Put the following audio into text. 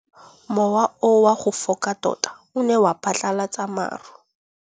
Mowa o wa go foka tota o ne wa phatlalatsa maru.